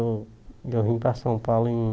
Eu eu vim para São Paulo em